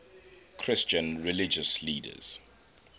christian religious leaders